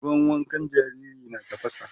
ruwan wankan jariri na tafasa